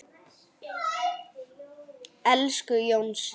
Elsku Jónsi.